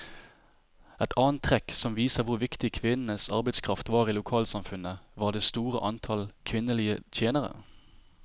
Et annet trekk som viser hvor viktig kvinnenes arbeidskraft var i lokalsamfunnet, var det store antallet kvinnelige tjenere.